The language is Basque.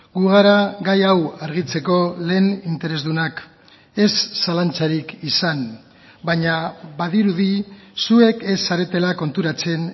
gu gara gai hau argitzeko lehen interesdunak ez zalantzarik izan baina badirudi zuek ez zaretela konturatzen